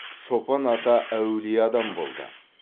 шопан ата әулие адам болды